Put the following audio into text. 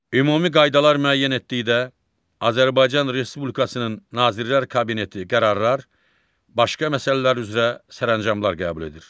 Ümumi qaydalar müəyyən etdikdə Azərbaycan Respublikasının Nazirlər Kabineti qərarlar, başqa məsələlər üzrə sərəncamlar qəbul edir.